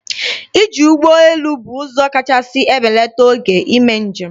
Iji ụgbọ elu bụ ụzọ kachasị ebelata oge n'ime njem.